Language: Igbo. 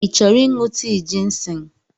Ị chọrọ ịṅụ tii jịnsịng?